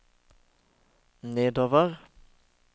nedover